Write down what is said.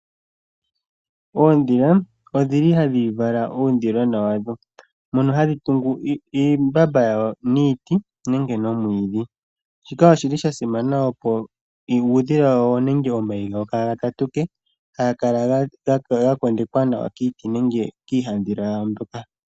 Oondhila odhili hadhi vala uudhilona wadho. Ohadhi tungu imbamba yawo niiti nenge nomwiidhi, osha simana opo uudhila wawo nenge omayi gawo ka ga tatuke, ihe gakale ga kondekwa nawa kiiti nenge piihadhila yawo mpoka.